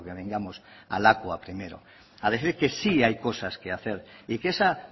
vengamos a lakua primero a decir que sí hay cosas que hacer y que esa